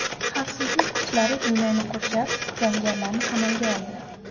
Xavfsizlik kuchlari binoni qurshab, jangarilarni qamalga oldi.